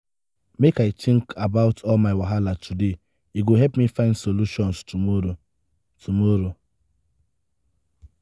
make i tink about all my wahala today e go help me find solutions tomorrow. tomorrow.